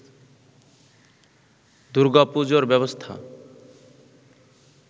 দূর্গাপুজোর ব্যবস্থা